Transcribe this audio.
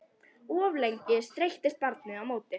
Of lengi streittist barnið á móti